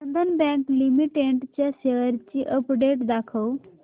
बंधन bank limited च्या shares ची update दाखव